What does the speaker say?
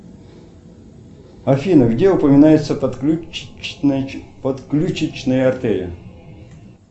афина где упоминается подключечная артерия